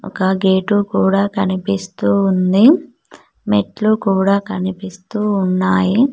ఇంకా గేటు కూడా కనిపిస్తూ ఉంది మెట్లు కూడా కనిపిస్తూ ఉన్నాయి.